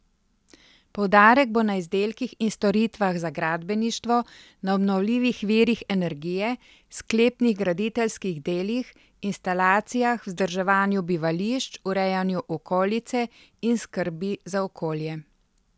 Poudarek bo na izdelkih in storitvah za gradbeništvo, na obnovljivih virih energije, sklepnih graditeljskih delih, instalacijah, vzdrževanju bivališč, urejanju okolice in skrbi za okolje.